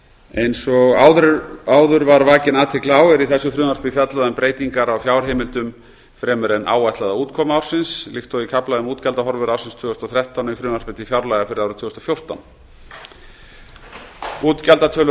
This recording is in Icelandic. eins og áður var vakin athygli á er í þessu frumvarpi fjallað um breytingar á fjárheimildum fremur en áætlaða útkomu ársins líkt og í kafla um útgjaldahorfur ársins tvö þúsund og þrettán í frumvarpi til fjárlaga fyrir árið tvö þúsund og fjórtán útgjaldatölur